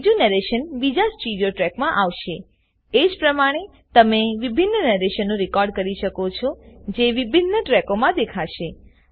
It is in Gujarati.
બીજું નરેશન બીજા સ્ટીરીઓ ટ્રેકમાં આવશેએજ પ્રમાણે તમે વિભિન્ન નરેશનો રેકોર્ડ કરી શકો છોજે વિભિન્ન ટ્રેકોમાં દેખાશે